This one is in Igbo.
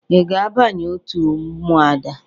Ị ga-abanye òtù Ụmụada?